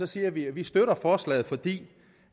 siger vi at vi støtter forslaget fordi